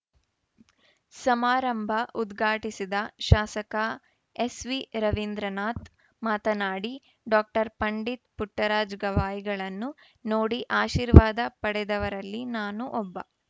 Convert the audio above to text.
ಸಮಾರಂಭ ಉದ್ಘಾಟಿಸಿದ ಶಾಸಕ ಎಸ್‌ವಿ ರವೀಂದ್ರನಾಥ್‌ ಮಾತನಾಡಿ ಡಾಕ್ಟರ್ ಪಂಡಿತ್ ಪುಟ್ಟರಾಜ ಗವಾಯಿಗಳನ್ನು ನೋಡಿ ಆಶೀರ್ವಾದ ಪಡೆದವರಲ್ಲಿ ನಾನೂ ಒಬ್ಬ